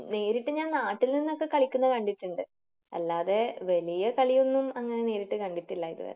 നേരിട്ട് ഞാൻ നാട്ടിൽ നിന്നൊക്കെ കളിക്കുന്നത് കണ്ടിട്ടുണ്ട്. അല്ലാതെ വലിയകളിയൊന്നും അങ്ങനെ നേരിട്ട് കണ്ടിട്ടില്ല ഇതുവരെ.